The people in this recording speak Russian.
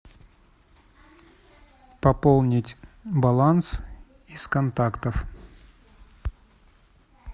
пополнить баланс из контактов